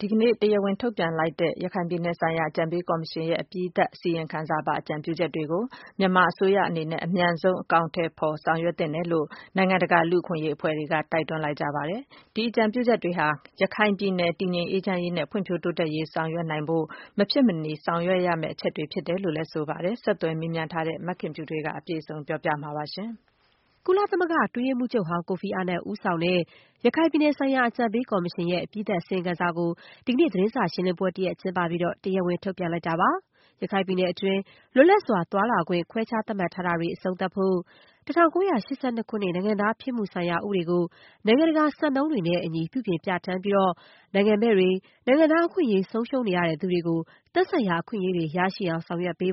ဒီကနေ့ တရားဝင်ထုတ်ပြန်လိုက်တဲ့ ရခိုင်ပြည်နယ်ဆိုင်ရာအကြံပေးကော်မရှင်ရဲ့ အပြီးသတ်အစီရင်ခံစာပါ အကြံပြုချက်တွေကို မြန်မာအစိုးရ အနေနဲ့ အမြန်ဆုံး အကောင်အထည် ဖော်ဆောင်ရွက်သင့်တယ်လို့ နိုင်ငံတကာ လူ့အခွင့်အရေး အဖွဲ့တွေက တိုက်တွန်း ပြောဆိုလိုက် ပါတယ်။ ဒီအကြံပြုချက်တွေဟာ ရခိုင်ပြည်နယ် တည်ငြိမ်အေးချမ်းရေးနဲ့ ဖွံ့ဖြိုး တိုးတက်ရေး ဆောင်ရွက်နိုင်ဖို့ မဖြစ်မနေ ဆောင်ရွက်သင့်တဲ့ အချက်တွေ ဖြစ်တယ်လို့ဆိုပါတယ်။ ဆက်သွယ်မေးမြန်းထားတဲ့ မခင်ဖြူထွေးက အပြည့်စုံ ပြောပြပေးပါမယ်။ ကုလသမဂ္ဂ အတွင်းရေးမှူးချုပ်ဟောင်း ကိုဖီအာနန်ဦးဆောင်တဲ့ ရခိုင်ပြည်နယ်ဆိုင်ရာ အကြံပေးကော်မရှင်ရဲ့ အပြီးသတ် အစီရင်ခံစာကို ဒီကနေ့ သတင်းစာရှင်းလင်းပွဲတရပ် ကျင်းပပြီး တရားဝင် ထုတ်ပြန်လိုက်တာပါ။ ရခိုင်ပြည်နယ်အတွင်း လွတ်လပ်စွာ သွားလာခွင့် ခွဲခြားသတ်မှတ်ထားတာတွေ အဆုံးသတ်ဖို့၊ ၁၉၈၂ ခုနှစ် နိုင်ငံသားဖြစ်မှုဆိုင်ရာဥပဒေကို နိုင်ငံတကာ စံနှုန်းတွေနဲ့အညီ ပြုပြင် ပြဌာန်းပြီး နိုင်ငံမဲ့တွေ၊ နိုင်ငံသား အခွင့်အရေး ဆုံးရှုံးနေသူတွေအတွက် သက်ဆိုင်ရာအခွင့်အရေးတွေ ရရှိအောင် ဆောင်ရွက်ဖို့၊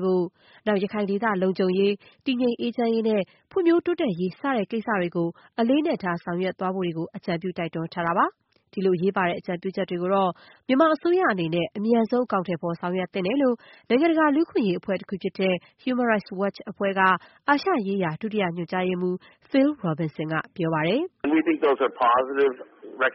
ရခိုင်ဒေသ လုံခြုံရေး၊ တည်ငြိမ်အေးချမ်းရေးနဲ့ ဖွံ့ဖြိုးတိုးတက်ရေး စတဲ့ ကိစ္စတွေကို အလေးအနက်ထား ဆောင်ရွက်သွားဖို့တွေကို အကြံပြု တိုက်တွန်းထားပါတယ်။ ဒီလိုအရေးပါတဲ့ အကြံပြုချက်တွေကိုတော့ မြန်မာအစိုးရအနေနဲ့ အမြန်ဆုံး အကောင်အထည်ဖော် ဆောင်ရွက်သင့်တယ်လို့ နိုင်ငံတကာ လူ့အခွင့်အရေးအဖွဲ့တခုဖြစ်တဲ့ Human Rights Watch အဖွဲ့က အာရှရေးရာ ဒုတိယ ညွန်ကြားရေးမှူး Phil Robinson က ပြောပါတယ်။ “အပြုသဘောဆောင်တဲ့ အ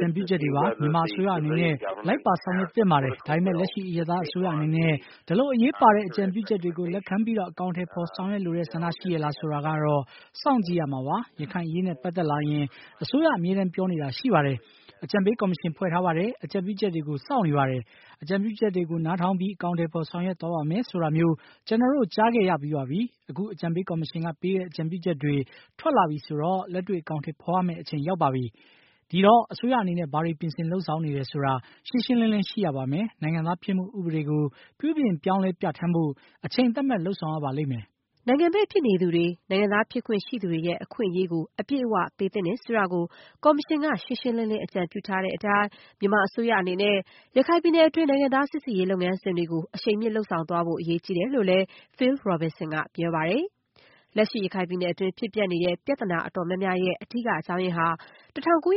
ကြံပြုချက်တွေပါ။ မြန်မာအစိုးရအနေနဲ့ လိုက်ပါဆောင်ရွက်သင့်ပါတယ်။ ဒါပေမဲ့ လက်ရှိ အရပ်သားအစိုးရအနေနဲ့ ဒီလိုအရေးပါတဲ့ အကြံပြုချက်တွေကို လက်ခံပြီး အကောင်အထည်ဖော် ဆောင်ရွက်လိုတဲ့ဆန္ဒ ရှိရဲ့လား ဆိုတာကတော့ စောင့်ကြည့်ရမှာပါ။ ရခိုင်အရေးနဲ့ပတ်သက်လာရင် အစိုးရ အမြဲတမ်းပြောနေတာရှိပါတယ်။ အကြံပေးကော်မရှင်ဖွဲ့ ထားပါတယ်… အကြံပြုချက်တွေကို စောင့်နေပါတယ်၊ အကြံပြုချက်တွေ နားထောင်ပြီး အကောင်အထည်ဖော် ဆောင်ရွက်သွားပါမယ် ဆိုတာမျိုး ကျနော်တို့ ကြားခဲ့ရတာပါ။ အခု အကြံပေးကော်မရှင်က ပေးတဲ့ အကြံပြုချက်တွေ ထွက်လာပြီဆိုတော့ လက်တွေ့ အကောင်အထည် ဖော်ရတော့မယ့် အချိန် ရောက်ပါပြီ။ ဆိုတော့ အစိုးရအနေနဲ့ ဘာတွေ ပြင်ဆင် လုပ်ဆောင်နေတယ်ဆိုတာ ရှင်းရှင်းလင်းလင်း ရှိရပါမယ်။ နိုင်ငံသားဖြစ်မှု ဥပဒေကို ပြုပြင် ပြောင်းလဲ ပြဌာန်းဖို့ အချိန်သတ်မှတ် လုပ်ဆောင်ရပါလိမ့်မယ်။” နိုင်ငံမဲ့ဖြစ်နေသူတွေ၊ နိုင်ငံသားဖြစ်ခွင့် ရှိသူတွေရဲ့ အခွင့်အရေးကို အပြည့်အ၀ ပေးသင့်တယ်ဆိုတာကို ကော်မရှင်က ရှင်းရှင်းလင်းလင်း အကြံပြုထားတဲ့အတိုင်း မြန်မာ အစိုးရအနေနဲ့ ရခိုင်ပြည်နယ်တွင်း နိုင်ငံသားစိစစ်ရေး လုပ်ငန်းစဉ်တွေကို အရှိန်မြင့် ဆောင်ရွက်သွားဖို့ အရေးကြီးတယ်လို့လည်း Phil Robinson က ပြောပါတယ်။ လက်ရှိ ရခိုင်ပြည်နယ်တွင်း ဖြစ်ပျက်နေတဲ့ ပြဿနာအတော်များများရဲ့ အဓိက အကြောင်းရင်းဟာ ၁၉၈၂ ခု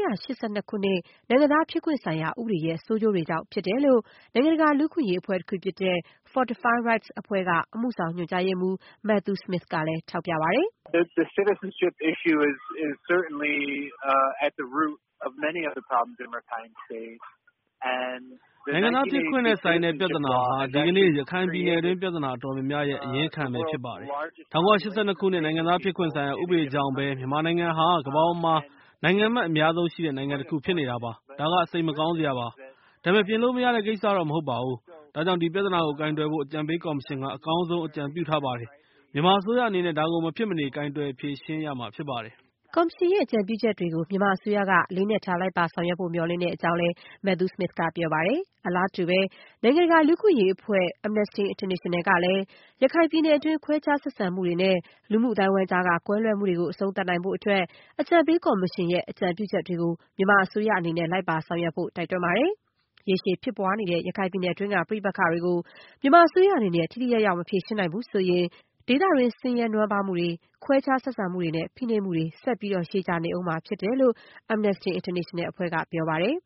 နှစ် နိုင်ငံသားဖြစ်ခွင့် ဆိုင်ရာ ဥပဒေရဲ့ ဆိုးကျိုးတွေပဲ ဖြစ်တယ်လို့ နိုင်ငံတကာ လူ့အခွင့်အရေးအဖွဲ့တခုဖြစ်တဲ့ Fortify Rights အဖွဲ့က အမှုဆောင်ညွန်ကြားမှူး Matthew Smith က ထောက်ပြ ပြောဆိုပါတယ်။ “နိုင်ငံသားဖြစ်ခွင့်နဲ့ဆိုင်တဲ့ ပြဿနာဟာ ဒီကနေ့ ရခိုင်ပြည်နယ်တွင်း ပြဿနာအတော်များများရဲ့ အရင်းခံပဲ ဖြစ်ပါတယ်။ ၁၉၈၂ ခုနှစ် နိုင်ငံသားဖြစ်ခွင့် ဆိုင်ရာ ဥပဒေကြောင့်ပဲ မြန်မာနိုင်ငံဟာ ကမ္ဘာပေါ်မှာ နိုင်ငံမဲ့အများဆုံးရှိတဲ့ နိုင်ငံတခု ဖြစ်နေတာပါ။ ဒါက စိတ်မကောင်းစရာပါ။ ဒါပေမဲ့ ပြင်လို့မရတဲ့ကိစ္စတော့ မဟုတ်ပါဘူး။ ဒါကြောင့် ဒီပြဿနာကို ကိုင်တွယ်ဖို့ အကြံပေးကော်မရှင်က အကောင်းဆုံး အကြံပြုထားပါတယ်။ မြန်မာအစိုးရအနေနဲ့ ဒါကို မဖြစ်မနေ ကိုင်တွယ် ဖြေရှင်းရမှာဖြစ်ပါတယ်။” ကော်မရှင်ရဲ့ အကြံပြုချက်တွေကို မြန်မာအစိုးရက အလေးအနက်ထား လိုက်ပါဆောင်ရွက်ဖို့ မျှော်လင့်ကြောင်းလည်း Matthew Smith က ပြောပါတယ်။ အလားတူပဲ နိုင်ငံတကာ လူ့အခွင့်အရေးအဖွဲ့ Amnesty International ကလည်း ရခိုင်ပြည်နယ်တွင်း ခွဲခြားဆက်ဆံမှုတွေနဲ့ လူမှုအသိုင်းအဝိုင်းကြားက ကွဲလွဲမှုတွေကို အဆုံးသတ်နိုင်ဖို့အတွက် အကြံပေးကော်မရှင်ရဲ့ အကြံပြုချက်တွေကို မြန်မာအစိုးရအနေနဲ့ လိုက်ပါဆောင်ရွက်ဖို့ တိုက်တွန်းပါတယ်။ ရေရှည်ဖြစ်ပွားနေတဲ့ ရခိုင်ပြည်နယ်တွင်းက ပဋိပက္ခတွေကို မြန်မာအစိုးရအနေနဲ့ ထိထိရောက်ရောက် မဖြေရှင်းနိုင်ဘူး ဆိုရင် ဒေသတွင်း ဆင်းရဲနွမ်းပါးမှုတွေ၊ ခွဲခြားဆက်ဆံမှုတွေနဲ့ ဖိနှိပ်မှုတွေ ဆက်ပြီး ရှည်ကြာနေဦးမှာ ဖြစ်တယ်လို့ Amnesty International အဖွဲ့က ပြောပါတယ်။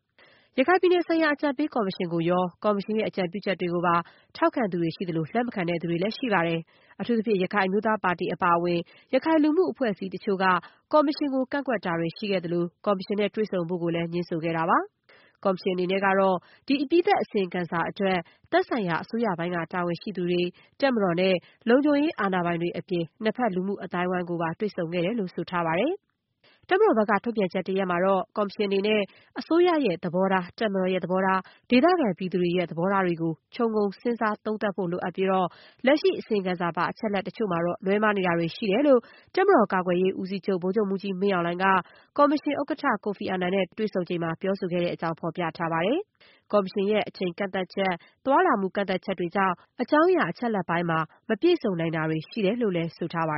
ရခိုင်ပြည်နယ်ဆိုင်ရာ အကြံပေးကော်မရှင်ကိုရော၊ ကော်မရှင်ရဲ့ အကြံပြုချက်တွေကိုပါ ထောက်ခံသူတွေ ရှိသလို၊ လက်မခံတဲ့သူတွေ လည်း ရှိပါတယ်။ အထူးသဖြင့် ရခိုင်အမျိုးသားပါတီ အပါအဝင် ရခိုင်လူမှု အဖွဲ့အစည်းအချို့က ကော်မရှင်ကို ကန့်ကွက်တာတွေ ရှိခဲ့သလို ကော်မရှင်နဲ့တွေ့ဆုံဖို့ကိုလည်း ငြင်းဆိုခဲ့ပါတယ်။ ကော်မရှင်အနေနဲ့ကတော့ ဒီ အပြီးသတ်အစီရင်ခံစာအတွက် သက်ဆိုင်ရာ အစိုးရပိုင်းက တာဝန်ရှိသူတွေ၊ တပ်မတော်နဲ့ လုံခြုံရေးအာဏာပိုင်တွေအပြင် နှစ်ဖက် လူမှုအသိုက်အဝိုင်းတွေကိုပါ တွေ့ဆုံခဲ့တယ်လို့ ဆိုထားပါတယ်။ တပ်မတော်ဘက်က ထုတ်ပြန်ချက်တရပ်မှာတော့ - ကော်မရှင်အနေနဲ့ အစိုးရရဲ့သဘောထား၊ တပ်မတော်ရဲ့ သဘောထား၊ ဒေသခံပြည်သူတွေရဲ့ သဘောထားတွေကို ခြုံငုံစဉ်းစားသုံးသပ်ဖို့လိုအပ်ပြီး လက်ရှိ အစီရင်ခံစာပါ အချက်အလက်တချို့မှာတော့ လွဲမှားနေတာတွေ ရှိနေတယ်လို့ တပ်မတော်ကာကွယ်ရေးဦးစီးချုပ် ဗိုလ်ချုပ်မှူးကြီး မင်းအောင်လှိုင်က ကော်မရှင်ဥက္ကဋ္ဌ Kofi Annan နဲ့ ဒီကနေ့ တွေ့ဆုံစဉ်မှာ ပြောဆိုခဲ့တဲ့အကြောင်း ဖော်ပြထားပါတယ်။ ကော်မရှင်ရဲ့ အချိန်ကန့်သတ်ချက်၊ သွားလာမှု ကန့်သတ်ချက်တွေ ကြောင့် အကြောင်းအရာ အချက်အလက်ပိုင်းမှာ မပြည့်စုံ နိုင်တာတွေ ရှိနေတယ်လို့လည်း ဆိုထားပါ